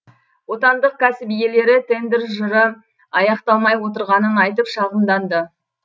отандық кәсіп иелері тендер жыры аяқталмай отырғанын айтып шағымданды